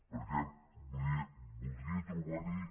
perquè voldria trobar hi